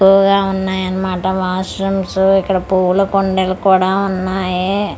కువగా ఉన్నాయి అన్నమాట washrooms ఇక్కడ పూల కుండీలు కూడా ఉన్నాయి.